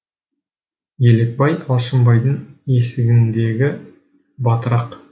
елекбай алшынбайдың есігіндегі батырақ